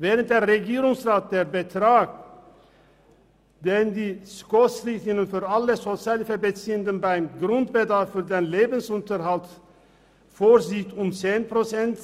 Während der Regierungsrat den Betrag, den die SKOSRichtlinien für alle Sozialhilfebeziehenden beim Grundbedarf für den Lebensunterhalt vorsehen, um 10 Prozent